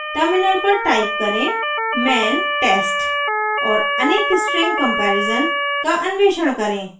terminal पर type करें man test और अनेक string comparison का अन्वेषण करें